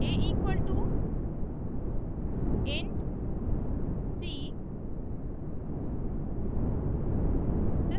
a equal to int c